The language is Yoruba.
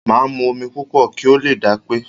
Máa mu omi púpọ̀ kí o lè dápé.